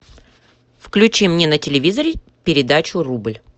включи мне на телевизоре передачу рубль